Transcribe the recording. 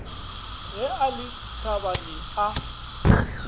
ge a le tlhabane a